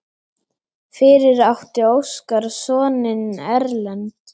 Fyrir átti Óskar soninn Erlend.